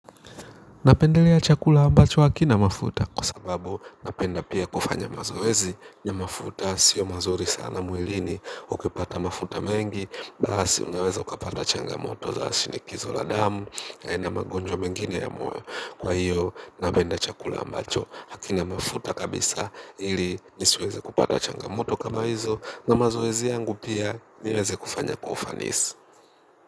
Napendelea chakula ambacho hakina mafuta kwa sababu napenda pia kufanya mazoezi ya mafuta sio mazuri sana mwilini ukipata mafuta mengi basi unaweza ukapata changa moto za asinikizo la damu ya ina magonjwa mengine ya moyo kwa hiyo napenda chakula ambacho hakina mafuta kabisa ili nisiweze kupata changa moto kama hizo na mazoezi yangu pia niweze kufanya kwa ufanisi.